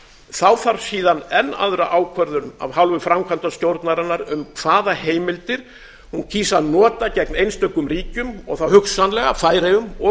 þá þarf síðan enn aðra ákvörðun af hálfu framkvæmdastjórnarinnar um hvaða heimildir hún kýs að nota gegn einstökum ríkjum og þá hugsanlega færeyjum og